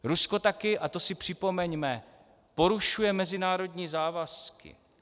Rusko také, a to si připomeňme, porušuje mezinárodní závazky.